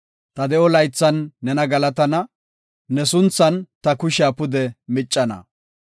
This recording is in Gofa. Ta de7o laythan nena galatana; ne sunthan ta kushiya pude miccana.